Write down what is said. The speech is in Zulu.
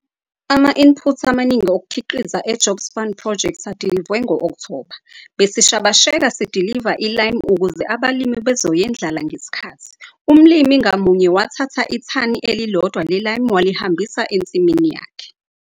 Ama-input amaningi okukhiqiza e-Jobs Fund Project adilivwe ngo-Okthoba - besishabasheka sidiliva i-lime ukuze abalimi bezoyendlala ngesikhathi. Umlimi ngamunye wathatha ithani elilodwa le-lime walihambisa ensimini yakhe.